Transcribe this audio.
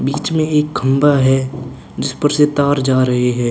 बीच में एक खंभा है जिस पर से तार जा रहै हैं।